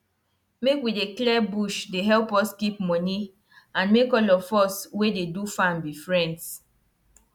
um to cover ground um with plant go help keep um water and that one go solve wahala wey dem don see for area.